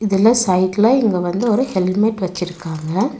இதுல சைட்ல இங்க வந்து ஒரு ஹெல்மெட் வெச்சிருக்காங்க.